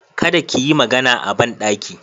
Kada ki yi magana a banɗaki.